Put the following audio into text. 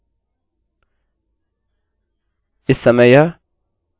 इस समय यह true बोलेगा